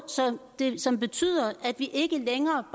som betyder at vi ikke længere